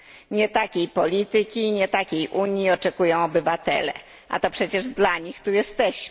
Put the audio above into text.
Nie takiej polityki i nie takiej Unii oczekują obywatele, a to przecież dla nich tu jesteśmy.